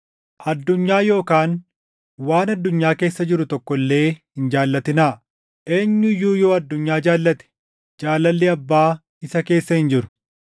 Addunyaa yookaan waan addunyaa keessa jiru tokko illee hin jaallatinaa. Eenyu iyyuu yoo addunyaa jaallate, jaalalli Abbaa isa keessa hin jiru.